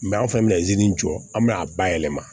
an fɛnɛ bɛ jɔ an mi na bayɛlɛma